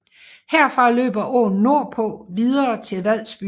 Herfra løber åen nordpå videre til Vadsby